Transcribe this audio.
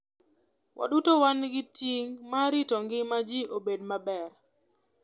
Waduto wan gi ting' mar rito ngima ji obed maber.